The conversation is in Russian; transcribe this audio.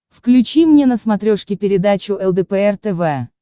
включи мне на смотрешке передачу лдпр тв